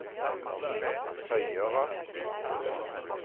høyere